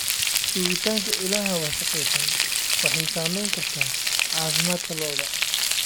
Joogitaanka ilaha wasakhaysan waxay saamayn kartaa caafimaadka lo'da.